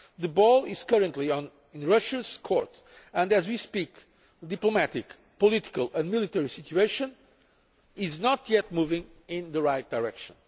The ball is currently in Russia's court and, as we speak, the diplomatic, political and military situation has not yet started moving in the right direction.